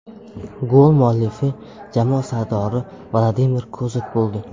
Gol muallifi jamoa sardori Vladimir Kozak bo‘ldi.